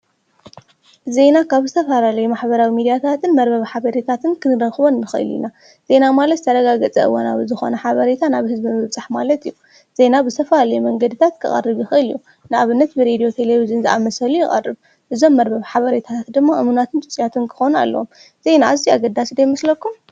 ዜና ካብ ዝተፈላለየ ማሐበራዊ ሚዲያታትን መርበብ ሓበሪታትን ክንረኽቦን ንኸእል ኢና ዜና ማለት ተረጋገፀ እወናዊ ብዝኾነ ሓበሬታ ናብ ህዝቢ ምብፃሕ ማለት እዩ፡፡ ዜና ብዝተፈላለየ መንገድታት ክቐርብ ይኸእል አዩ፡፡ ንኣብነት ብሬድዩ ቴሌብዥን ዝኣመሰሉ ይቐርብ፡፡ እዞም መርበብ ሓበሬታትት ደሞ እሙናትን ፅፁያትን ክኾኑ ኣለዎም፡፡ ዜና እዙየ ኣገዳሲ ዶ ይመስለኩም?